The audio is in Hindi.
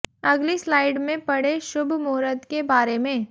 अगली स्लाइड में पढ़े शुभ मुहूर्त के बारें में